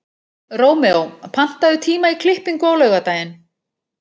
Rómeó, pantaðu tíma í klippingu á laugardaginn.